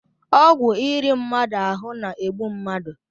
Ọgwụ iri mmadụ ahụ na-egbu mmadụ